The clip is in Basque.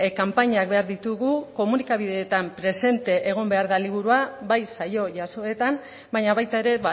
kanpainak behar ditugu komunikabideetan presente egon behar da liburua bai saio jasoetan baina baita ere